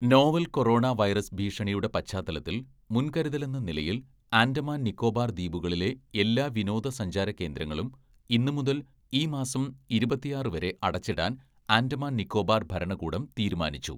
"Novel‍ corona virus ഭീഷണിയുടെ പശ്ചാത്തലത്തില്‍ മുന്‍കരുതലെന്ന നിലയില്‍ ആന്‍ഡമാന്‍ നിക്കോബാര്‍ ദ്വീപുകളിലെ എല്ലാ വിനോദസഞ്ചാര കേന്ദ്രങ്ങളും ഇന്നുമുതല്‍ ഈ മാസം ഇരുപത്തിയാറ് വരെ അടച്ചിടാന്‍ ആന്‍ഡമാന്‍ നിക്കോബാര്‍ ഭരണകൂടം തീരുമാനിച്ചു. "